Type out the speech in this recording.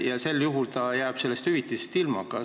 Kas sel juhul jääb ta sellest hüvitisest ilma?